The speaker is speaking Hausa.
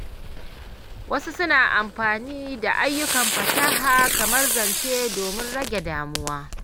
Wasu suna amfani da ayyukan fasaha kamar zane domin rage damuwa.